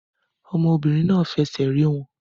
Ọmọbìnrin náà fi ẹsẹ̀ rẹ̀ wọ̀n